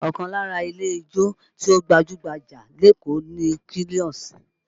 Ọkàn lára ilé ijó tí ó gbajú-gbajà lékòó ni Quilox